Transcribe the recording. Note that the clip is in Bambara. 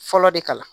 Fɔlɔ de kama